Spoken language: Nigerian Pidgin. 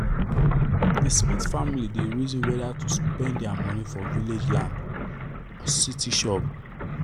the smith family dey reason whether to spend their money for village land or city shop